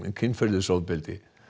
kynferðisofbeldi